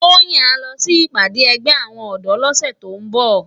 Toyin á lò si ipàdé ègbè áwòn òdò lòsè tó n bò